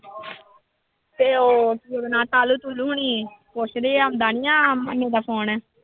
ਤੇ ਉਹ ਹੋਣੀ ਪੁੱਛਦੇ ਆ ਦਾ phone